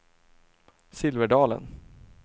Silverdalen